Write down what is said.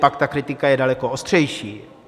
Pak ta kritika je daleko ostřejší.